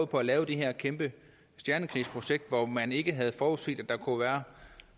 på at lave det her kæmpe stjernekrigsprojekt hvor man ikke havde forudset at der kunne være